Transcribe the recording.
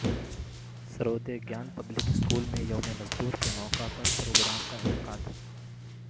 Sarvodaya Gyan public school میں یوم مزدور کے موقع پر پروگرام کا انعقاد